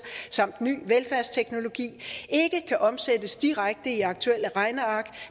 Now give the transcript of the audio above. samt ny velfærdsteknologi ikke kan omsættes direkte i aktuelle regneark